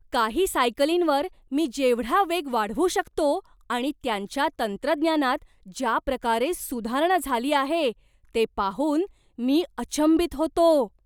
काही सायकलींवर मी जेवढा वेग वाढवू शकतो आणि त्यांच्या तंत्रज्ञानात ज्या प्रकारे सुधारणा झाली आहे ते पाहून मी अचंबित होतो.